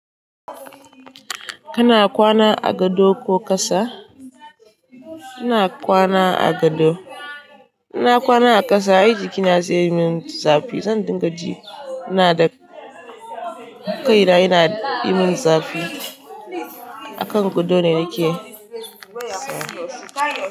Kana kwana a gado ko ƙasa? Ina kwana a gado. Ina kwana a ƙasa ai jiki na zai yi min zafi. Zan dinga ji na da kaina yana yi min zafi. A kan gado ne nake saya.